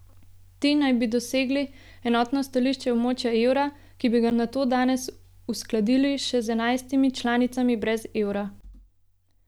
Ti naj bi dosegli enotno stališče območja evra, ki bi ga nato danes uskladili še z enajstimi članicami brez evra.